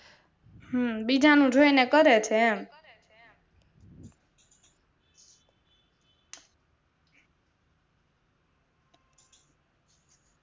હમ બીજાનું જોઈને કરે છે એમ